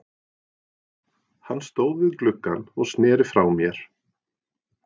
Hann stóð við gluggann og sneri frá mér.